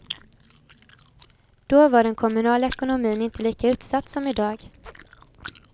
Då var den kommunala ekonomin inte lika utsatt som idag.